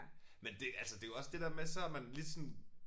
Men det altså det jo også det der med så er man lige sådan